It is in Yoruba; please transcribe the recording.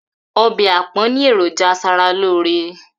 Obe àpón ni ẹ̀rọ̀jà asaralóóre.